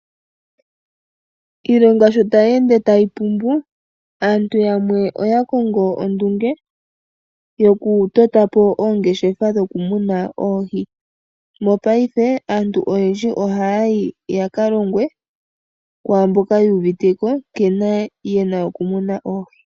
Iilonga sho tayi ende tayi pumbu, aantu yamwe oya kongo ondunge yokutota po oongeshefa dhoku muna oohi. Mopaife, aantu oyendji ohaya yi yaka longwe kwaamboka yu uvite ko nkene ye na okumuna oohi.